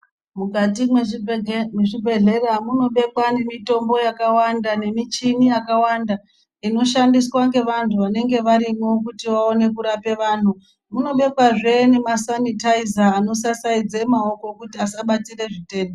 Mukati mwe zvibhedhlera muno bekwa ne mitombo yakawanda ne michini yakawanda inoshandiswa nge vantu vanenge varimwo kuti vaone kurape vanhu muno bekwa zvee nema sanitaiza ano sasaidze maoko kuti asa batire zvitenda.